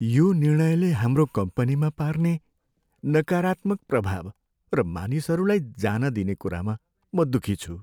यो निर्णयले हाम्रो कम्पनीमा पार्ने नकारात्मक प्रभाव र मानिसहरूलाई जान दिने कुरामा म दुखी छु।